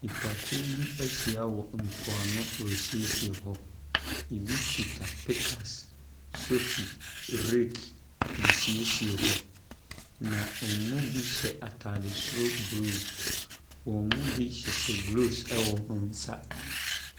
Nipakuo bi ahyia wɔ mpoano resiesie hɔ. Ɛbi kita pick axe, sofi, rake de resiesie hɔ, na wɔn mu bi hyɛ atade soro blue. Wɔn mu bi hyehyɛ gloves wɔ wɔn nsa.